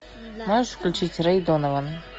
можешь включить рэй донован